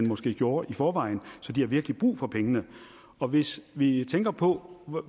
måske gjorde i forvejen så de har virkelig brug for pengene og hvis vi tænker på